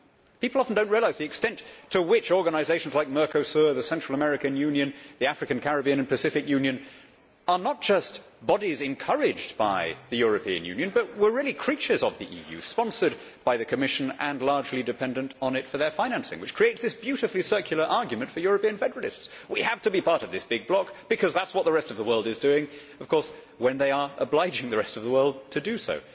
People often do not realise the extent to which organisations like Mercosur, the Central American Union and the African, Caribbean and Pacific Union, are not just bodies encouraged by the European Union, but were really creatures of the EU, sponsored by the Commission and largely dependent on it for their financing. This creates a beautifully circular argument for European federalists who say, We have to be part of this big bloc because that is what the rest of the world is doing', when of course they are obliging the rest of the world to do so.